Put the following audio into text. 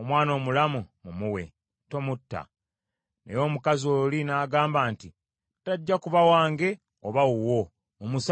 omwana omulamu mumuwe! Tomutta!” Naye omukazi oli n’agamba nti, “Tajja kuba wange oba wuwo. Mumusalemu!”